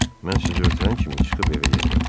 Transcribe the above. Mən sizi ötürən kimi çıxıb evə gedirəm.